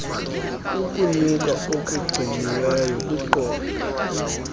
kukunyuka okugciniweyo kwiqondo